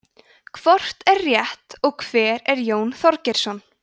hvort er rétt og hver er jón þorgeirsson